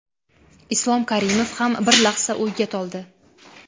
Islom Karimov ham bir lahza o‘yga toldi.